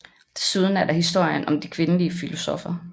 Desuden er der historien om de kvindelige filosoffer